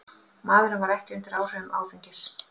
Maðurinn var ekki undir áhrifum áfengis